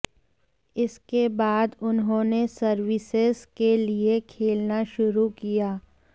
इसके बाद उन्होंने सर्विसेज के लिए खेलना शुरू किया